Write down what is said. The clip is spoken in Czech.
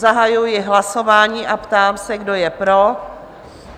Zahajuji hlasování a ptám se, kdo je pro?